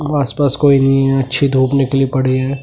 आसपास कोई नहीं है अच्छी धूप निकली पड़ी है ।